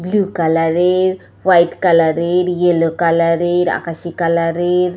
blue colour এরহোয়াইট colour এরইয়েলো colour এরআকাশি কালার এর --